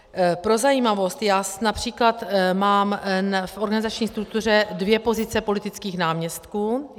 Pro zajímavost, já například mám v organizační struktuře dvě pozice politických náměstků.